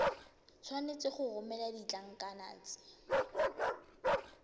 tshwanetse go romela ditlankana tse